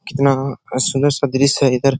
कितना अ सुंदर सा दृश्य है इधर |